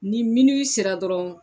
Ni miniwi sera dɔrɔn